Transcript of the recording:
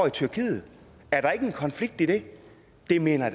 i tyrkiet er der ikke en konflikt i det det mener